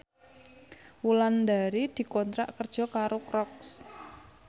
Wulandari dikontrak kerja karo Crocs